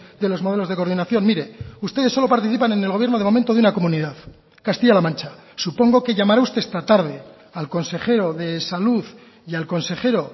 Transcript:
de los modelos de coordinación mire ustedes solo participan en el gobierno de momento de una comunidad castilla la mancha supongo que llamará usted esta tarde al consejero de salud y al consejero